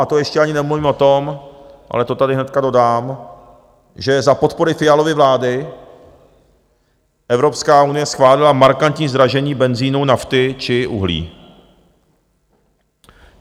A to ještě ani nemluvím o tom, ale to tady hnedka dodám, že za podpory Fialovy vlády Evropská unie schválila markantní zdražení benzinu, nafty či uhlí.